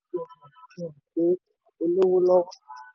níná owó yàfùyafùn fi hàn fi hàn pé o lówó lọ́wọ́.